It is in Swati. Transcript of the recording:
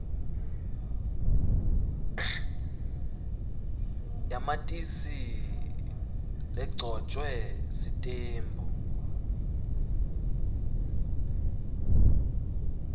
yamatisi legcotjwe sitembu